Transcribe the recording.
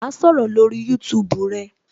Ma sọ̀rọ̀ lórí YouTube rẹ